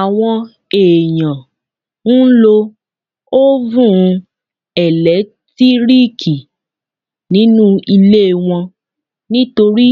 Àwọn èèyàn ń lo ófùn ẹ̀lẹ́tíríkì nínu ilé wọ́n nítorí